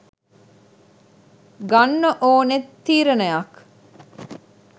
ගන්න ඕනේ තීරණයක්.